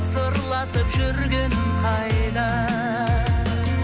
сырласып жүргенің қайда